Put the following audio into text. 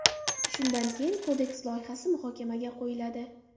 Shundan keyin Kodeks loyihasi muhokamaga qo‘yiladi.